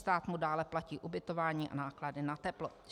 Stát mu dále platí ubytování a náklady na teplo.